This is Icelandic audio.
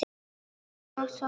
Góða nótt, sofðu rótt.